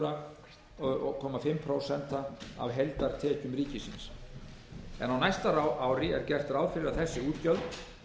og hálft prósent af heildartekjum ríkisins á næsta ári er gert ráð fyrir að þessi útgjöld